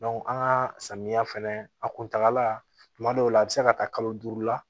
an ka samiya fɛnɛ a kuntala kuma dɔw la a bi se ka taa kalo duuru la